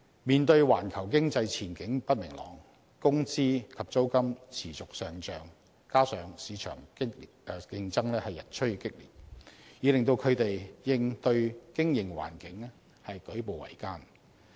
面對環球經濟前景不明朗，工資及租金持續上漲，加上市場競爭日趨激烈，已令他們應對經營環境舉步維艱。